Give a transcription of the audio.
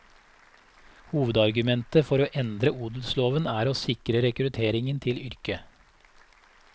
Hovedargumentet for å endre odelsloven er å sikre rekrutteringen til yrket.